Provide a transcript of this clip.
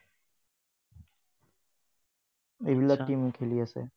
এইবিলাক team খেলি আছে।